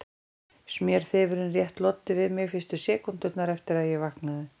Smjörþefurinn rétt loddi við mig fyrstu sekúndurnar eftir að ég vaknaði.